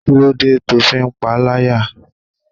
Kí ló dé to fi ń pa láyà?